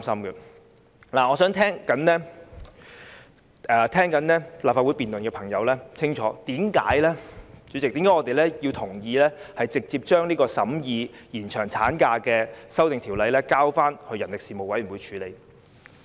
主席，我想向正在聆聽立法會辯論的朋友說清楚，我們為何同意直接把延長產假修訂的《條例草案》交付人力事務委員會處理。